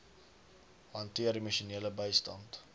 hanteer emosionele bystand